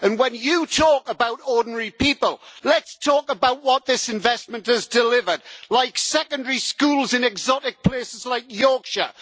When you talk about ordinary people, let's talk about what this investment has delivered like secondary schools in exotic places like Yorkshire